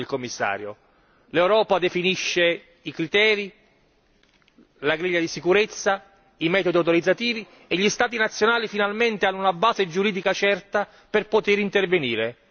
Ha ragione il Commissario, l'Europa definisce i criteri, la griglia di sicurezza, i metodi autorizzativi e gli Stati nazionali finalmente hanno una base giuridica certa per poter intervenire.